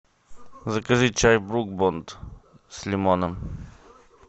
закажи чай брук бонд с лимоном